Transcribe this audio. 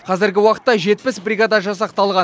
қазіргі уақытта жетпіс бригада жасақталған